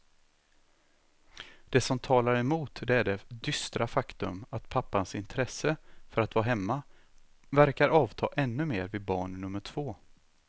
Det som talar emot det är det dystra faktum att pappans intresse för att vara hemma verkar avta ännu mer vid barn nummer två.